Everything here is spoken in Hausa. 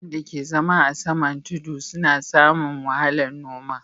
Mutanen da ka zama a saman tudu su na samu fiyan noma